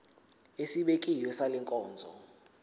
esibekiwe sale nkonzo